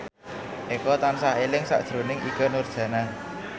Eko tansah eling sakjroning Ikke Nurjanah